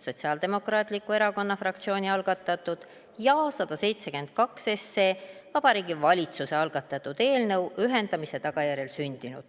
Sotsiaaldemokraatliku Erakonna fraktsiooni algatatud, ja 172, Vabariigi Valitsuse algatatud eelnõu – ühendamise tagajärjel sündinud.